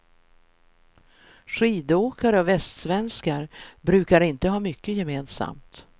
Skidåkare och västsvenskar brukar inte ha mycket gemensamt.